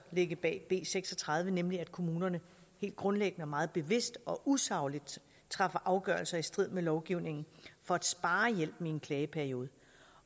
ligge bag b seks og tredive nemlig at kommunerne helt grundlæggende og meget bevidst og usagligt træffer afgørelser i strid med lovgivningen for at spare hjælpen i en klageperiode